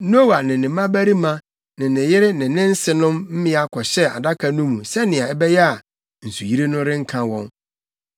Noa ne ne mmabarima ne ne yere ne ne nsenom mmea kɔhyɛɛ adaka no mu sɛnea ɛbɛyɛ a nsuyiri no renka wɔn.